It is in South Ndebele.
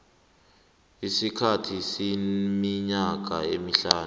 isikhathi seminyaka emihlanu